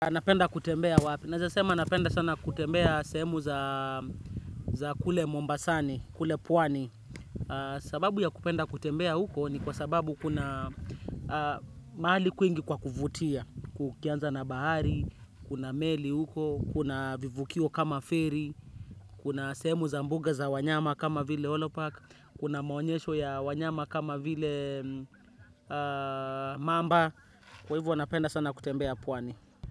Anapenda kutembea wapi. Nezasema napenda sana kutembea sehemu za kule Mombasani, kule Pwani. Sababu ya kupenda kutembea huko ni kwa sababu kuna mahali kwingi kwa kuvutia. Kukianza na bahari, kuna meli huko, kuna vivukio kama feri, kuna sehemu za mbuga za wanyama kama vile Holopark, kuna maonyesho ya wanyama kama vile mamba. Kwa hivyo napenda sana kutembea Pwani.